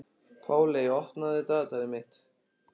Páley, opnaðu dagatalið mitt.